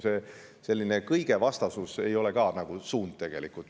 See selline kõige vastasus ei ole ka tegelikult suund.